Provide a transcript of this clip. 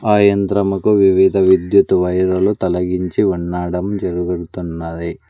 ఆ యంత్రముకు వివిధ విద్యుత్ వైరులు తొలగించు ఉండడం జరుగుతున్నాది.